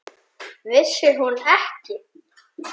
Vissi hún ekki!